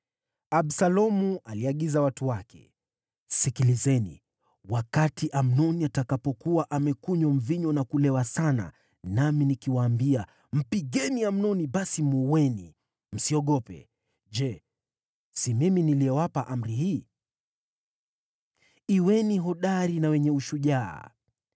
Absalomu aliagiza watu wake, “Sikilizeni! Wakati Amnoni atakapokuwa amekunywa mvinyo na kulewa sana nami nikiwaambia, ‘Mpigeni Amnoni,’ basi muueni. Msiogope. Je, si mimi niliyewapa amri hii? Kuweni hodari na wenye ushujaa.”